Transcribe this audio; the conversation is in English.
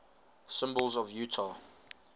symbols of utah